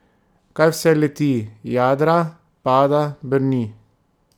Kaj vse leti, jadra, pada, brni?